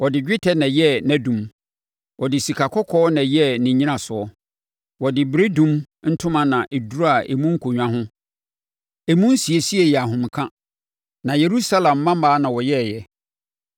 Ɔde dwetɛ na ɛyɛɛ nʼadum, ɔde sikakɔkɔɔ na ɛyɛɛ ne nnyinasoɔ. Wɔde beredum ntoma na ɛduraa emu nkonnwa ho. Emu nsiesie yɛ ahomeka na Yerusalem mmammaa na wɔyɛeɛ.